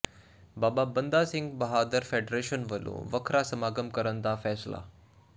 ਬਾਬਾ Banda Singh Bahadur federation ਵੱਲੋਂ ਵੱਖਰਾ ਸਮਾਗਮ ਕਰਨ ਦਾ ਫੈਸਲਾ